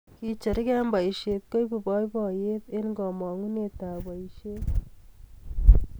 Kecgerugei eng boisie koibu boiboiye ang kamongunee ebf boisie.